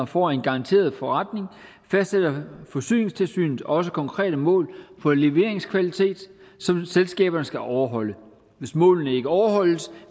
får en garanteret forretning fastsætter forsyningstilsynet også konkrete mål for leveringskvalitet som selskaberne skal overholde hvis målene ikke overholdes